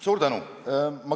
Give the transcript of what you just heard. Suur tänu!